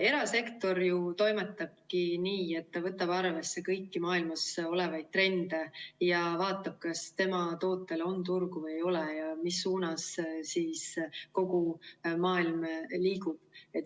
Erasektor toimetabki nii, et ta võtab arvesse kõiki maailmas olevaid trende ja vaatab, kas tema tootel on turgu või ei ole ja mis suunas kogu maailm liigub.